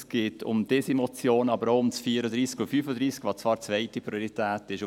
Es geht um diese Motion, aber auch um 34 und 35, welche zwar zweite Priorität sind.